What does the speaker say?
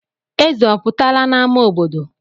Eze ọ pụtala n'ámá obodo?